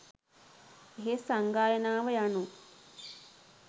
එහෙත් සංගායනාව යනු